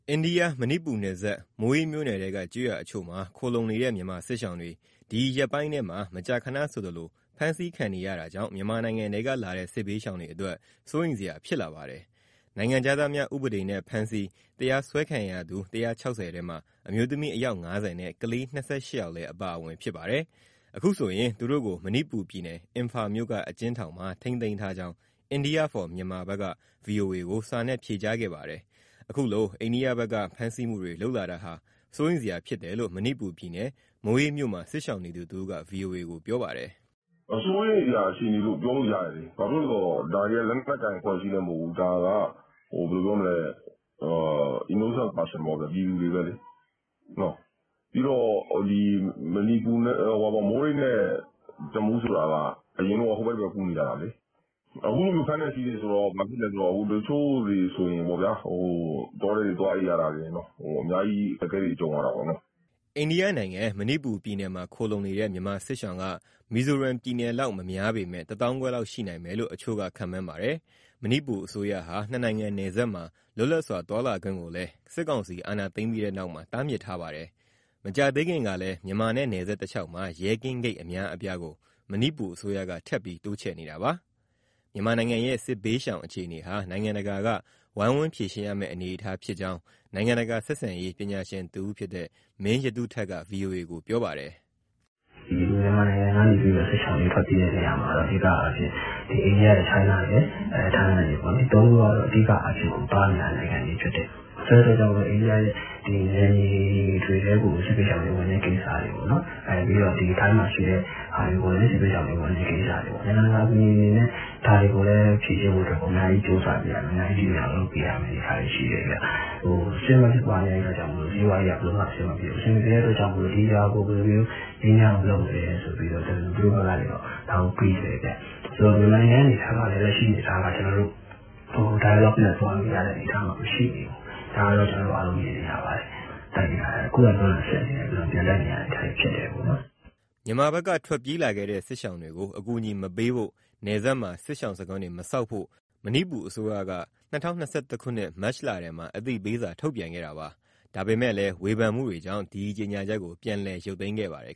အိန္ဒိယ မဏိပူရ်နယ်စပ်၊ မိုးရေးမြို့နယ်ထဲက ကျေးရွာတချို့မှာ ခိုလှုံနေတဲ့ မြန်မာစစ်ရှောင်တွေ ဒီရက်ပိုင်းထဲမှာ မကြာခဏဆိုသလို ဖမ်းဆီးခံနေရတာကြောင့် မြန်မာနိုင်ငံထဲကလာတဲ့ စစ်ဘေးရှောင်တွေအတွက် စိုးရိမ်စရာဖြစ်လာပါတယ်။ နိုင်ငံခြားသားတွေကို ပြည်ဝင်ခွင့်ဥပဒေနဲ့ ဖမ်းဆီး၊ တရားစွဲခံရသူ ၁၆၀ ထဲမှာ အမျိုးသမီး အယောက် ၅၀ နဲ့ ကလေး ၂၈ ယောက်လည်း အပါအဝင်ဖြစ်ပါတယ်။ အခုဆိုရင် သူတို့ကို မဏိပူရ်ပြည်နယ်၊ အင်ဖာမြို့က အကျဉ်းထောင်မှာ ထိန်းသိမ်းထားကြောင်း India for Myanmar ကူညီရေးအဖွဲ့က ဗွီအိုအေကို စာနဲ့ ဖြေကြားခဲ့ပါတယ်။ အခုလို အိန္ဒိယဘက်က ဖမ်းဆီးမှုတွေ လုပ်လာတာဟာ စိုးရိမ်စရာဖြစ်တယ်လို့ မဏိပူရ်ပြည်နယ်၊ မိုးရေးမြို့မှာ စစ်ရှောင်နေသူတဦးက ဗွီအိုအေကို ပြောပါတယ်။ " စိုးရိမ်စရာ အခြေအနေလို့ ပြောလို့ရတယ်၊ ဒါတွေက လက်နက်ကိုင် အဖွဲ့အစည်းလည်း မဟုတ်ဘူး၊ ဒါက အပြစ်မဲ့ ပြည်သူတွေပဲလေ။ မိုးရေးနဲ့ တမူးဆိုတာက အရင်က ဟိုဖက်ဒီဖက် ကူးနေကြတာ အခုလို ဖမ်းတယ်ဆီးတယ်ဆိုတော့ တချို့တွေဆိုရင် တောထဲကို သွားအိပ်ရတာတွေ ရှိတယ်။ အများကြီး အခက်အခဲတွေ ကြုံရတာပေါ့။" အိန္ဒိယနိုင်ငံ မဏိပူရ်ပြည်နယ်မှာ ခိုလှုံနေတဲ့ မြန်မာစစ်ရှောင်က မီဇိုရမ်ပြည်နယ်လောက် မများပေမဲ့ တသောင်းခွဲလောက် ရှိနိုင်မယ်လို့ တချို့က ခန့်မှန်းပါတယ်။ မဏိပူအစိုးရဟာ နှစ်နိုင်ငံနယ်စပ်မှာ လွတ်လပ်စွာ သွားလာခွင့်ကိုလည်း စစ်ကောင်စီ အာဏာသိမ်းပြီးတဲ့နောက်မှာ တားမြစ်ထားပါတယ်။ မကြာသေးခင်ကလည်း မြန်မာနဲ့ နယ်စပ်တလျှောက်မှာ ရဲကင်းဂိတ် အများအပြားကို မဏိပူရ်အစိုးရက ထပ်ပြီးတိုးချဲ့နေတာပါ။ မြန်မာနိုင်ငံရဲ့ စစ်ဘေးရှောင် အခြေအနေဟာ နိုင်ငံတကာက ဝိုင်းဝန်းဖြေရှင်းရမယ့် အနေအထားဖြစ်ကြောင်း နိုင်ငံတကာဆက်ဆံရေး ပညာရှင်တဦးဖြစ်တဲ့ မင်းရတုထက်က ဗွီအိုအေကို ပြောပါတယ်။ " မြန်မာနိုင်ငံကနေ စစ်ရှောင်တွေ ထွက်ပြေးတာမှာ အဓိကအားဖြင့် အိန္ဒိယရယ်၊ တရုတ်ရယ်၊ ထိုင်း ရယ်ပေါ့ ဒီသုံးခုက အဓိကသွားနေတဲ့ နိုင်ငံတွေဖြစ်တယ်။ ဆိုတော့ အိန္ဒိယရဲ့ နယ်မြေတွေထဲကို စစ်ဘေးရှောင်တွေ ဝင်တဲ့ကိစ္စတွေကို၊ ပြီးတော့ ထိုင်းကို ဝင်တဲ့ကိစ္စ၊ နိုင်ငံတကာ အကူအညီအနေနဲ့ ဒါတွေကို ဖြေရှင်းပေးဖို့ အများကြီး ကြိုးစားပေးရမယ်။ စစ်မက်ဖြစ်ပွားနေလို့ စီးပွားရေးက ဘယ်လိုမှအဆင်မပြေဘူး၊ ဒါကြောင့် ဒီဟာကို ဘယ်လိုမျိုး ငြိမ်းချမ်းအောင်လုပ်မလဲ ဆိုပြီး သူတို့ဘက်ကနေ တွေးတယ်ဗျ။ ဆိုတော့ မြန်မာနိုင်ငံရဲ့ အနေအထားကလည်း ဒိုင်ယာလော့ခ်နဲ့ သွားလို့ရတဲ့ အနေအထားမှာ မရှိဘူး၊ ဒါကို အားလုံးမြင်နေရပါတယ်။ ခုခံတွန်းလှန်စစ်နဲ့ ပြန်တိုက်နေရတဲ့ အနေအထားတွေ ဖြစ်တယ်ပေါ့နော်။" မြန်မာဘက်က ထွက်ပြေးလာခဲ့တဲ့ စစ်ရှောင်တွေကို အကူအညီ မပေးဖို့၊ နယ်စပ်မှာ စစ်ရှောင်စခန်းတွေ မဆောက်ဖို့ မဏိပူရ်အစိုးရက ၂၀၂၁ ခုနှစ် မတ်လထဲမှာ အသိပေးစာ ထုတ်ပြန်ခဲ့တာပါ။ ဒါပေမဲ့ ဝေဖန်မှုတွေကြောင့် ဒီကြေညာချက်ကို ပြန်ရုတ်သိမ်းခဲ့ပါတယ်